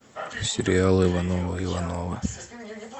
сериал ивановы ивановы